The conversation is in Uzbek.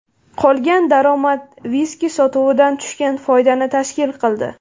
Qolgan daromad viski sotuvidan tushgan foydani tashkil qildi.